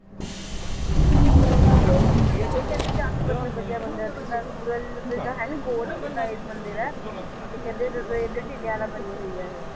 ਇਹ ਕਹਿੰਦੇ ਕਾਫੀ ਮਤਲਬ ਵਧੀਆ ਮੰਦਿਰ ਤੇ ਜਿੱਦਾਂ ਸੂਰਜ ਜਿੱਦਾਂ ਹੈ ਨੀ ਗੋਲ, ਓਦਾਂ ਇਹ ਮੰਦਿਰ ਏ ਤੇ ਕਹਿੰਦੇ ਬਣੀ ਹੋਈ ਇਹ